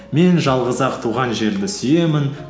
мен жалғыз ақ туған жерді сүйемін